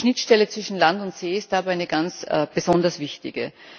Die Schnittstelle zwischen Land und See ist dabei eine ganz besonders wichtige.